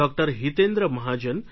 Hitendra Mahajan Dr